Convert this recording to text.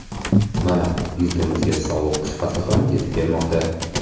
Mana, yurtimizga sovuq qish fasli ham yetib kelmoqda.